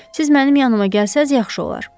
Siz mənim yanımaq gəlsəz yaxşı olar.